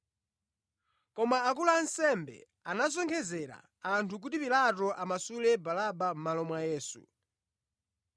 Koma akulu a ansembe anasonkhezera anthu kuti Pilato amasule Baraba mʼmalo mwa Yesu.